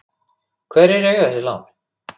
Hverjir eiga þessi lán?